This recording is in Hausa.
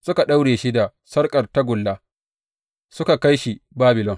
Suka daure shi da sarƙar tagulla, suka kai shi Babilon.